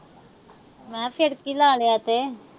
ਹਾਂ ਫਿਰ ਕੀ ਲਾ ਲਿਆ ਤੇ।